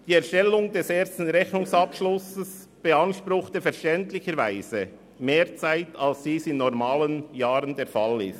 Die Erstellung des ersten Rechnungsabschlusses beanspruchte verständlicherweise mehr Zeit, als dies in regulären Jahren der Fall ist.